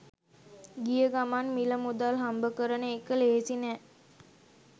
ගිය ගමන් මිල මුදල් හම්බ කරන එක ලෙහෙසි නැහැ